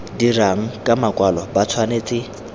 dirang ka makwalo ba tshwanetse